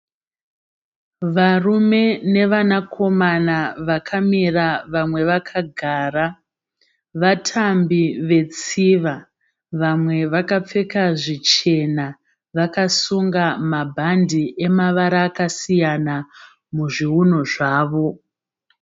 Varume nevana komana vakamira vamwe vakagara. Vatambi vetsiva. Vamwe vakapfeka zvichena vakasunga mabhandi emavara akasiyana muzviunu zvavo.